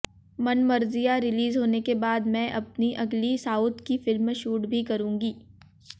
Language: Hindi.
मनमर्जियां रिलीज होने के बाद मैं अपनी अगली साउथ की फिल्म शूट भी करूंगी